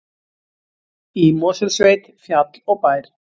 Í Mosfellssveit, fjall og bær.